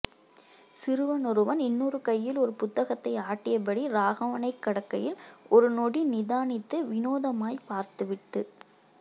சிறுவனொருவன் இன்னொரு கையில் ஒரு புத்தகத்தை ஆட்டியபடி ராகவனைக் கடக்கையில் ஒரு நொடி நிதானித்து வினோதமாய் பார்த்துவிட்டு